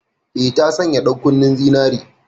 Eh, ta sanya ɗankunnen zinare.